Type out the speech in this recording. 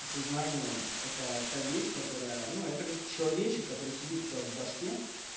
сознание это та вещь которая ну это как человечек который сидит у тебя в башке